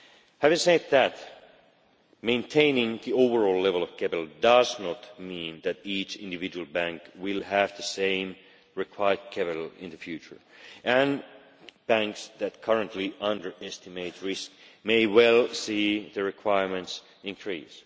Having said that, maintaining the overall level of capital does not mean that each individual bank will have the same required capital in the future, and banks that currently underestimate risk may well see the requirements increase.